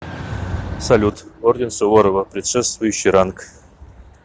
салют орден суворова предшествующий ранг